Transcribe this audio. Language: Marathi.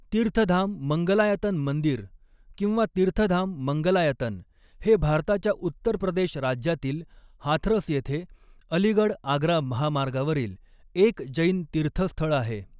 तीर्थधाम मंगलायतन मंदिर किंवा तीर्थधाम मंगलायतन हे भारताच्या उत्तर प्रदेश राज्यातील हाथरस येथे अलीगढ आग्रा महामार्गावरील एक जैन तीर्थस्थळ आहे.